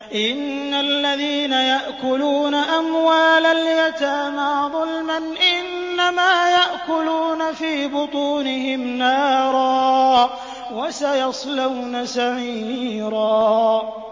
إِنَّ الَّذِينَ يَأْكُلُونَ أَمْوَالَ الْيَتَامَىٰ ظُلْمًا إِنَّمَا يَأْكُلُونَ فِي بُطُونِهِمْ نَارًا ۖ وَسَيَصْلَوْنَ سَعِيرًا